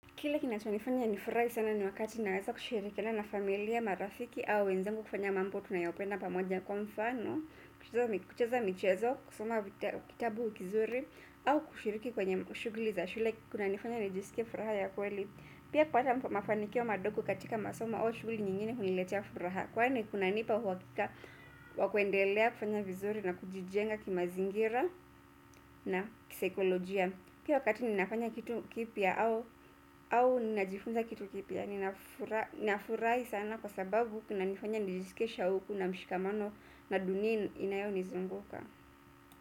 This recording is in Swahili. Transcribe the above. Kile kinachonifanya nifurahi sana ni wakati naweza kushirikiana na familia, marafiki au wenzangu kufanya mambo, tunayopenda pamoja kwa mfano, kucheza michezo, kusoma kitabu kizuri au kushiriki kwenye shughuli za shule kunanifanya nijisikie furaha ya kweli. Pia kuweka mafanikio madogo katika masomo au shughuli nyingine huniletia furaha kwani kunanipa uhakika wa kuendelea kufanya vizuri na kujijenga kimazingira na kisaikolojia. Pia wakati ninafanya kitu kipya au ninajifunza kitu kipya nafurahi sana kwa sababu kunanifanya nijisikie shauku na mshikamano na dunia inayonizunguka.